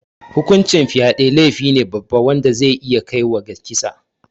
Hukuncin fyade laifine babba wanda zai iya kaiwa ga kisa